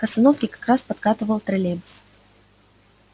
к остановке как раз подкатывал троллейбус